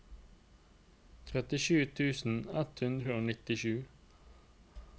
trettisju tusen ett hundre og nittisju